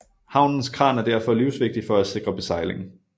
Havnens kran er derfor livsvigtig for at sikre besejling